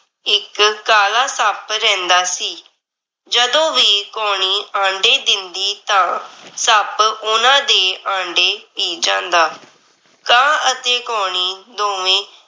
ਇੱਕ ਕਾਲਾ ਸੱਪ ਰਹਿੰਦਾ ਸੀ। ਜਦੋਂ ਵੀ ਕਾਉਣੀ ਆਂਡੇ ਦਿੰਦੀ ਤਾਂ ਸੱਪ ਓਹਨਾਂ ਦੇ ਆਂਡੇ ਪੀ ਜਾਂਦਾ। ਕਾਂ ਅਤੇ ਕਉਣੀ ਦੋਵੇਂ